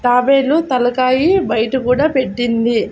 తాబేలు తలకాయ బయట కూడా పెట్టింది.